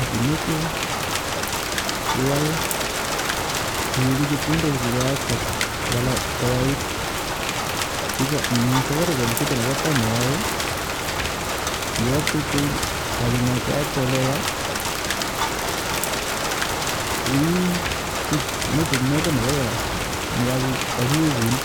Ngimeche iweku chepkondok che keyakte koyayait eng safaricom kito ne pa tai ne iyae kiakte kityo akinai keyakte ole ya iisut message noyo ne kakiwekun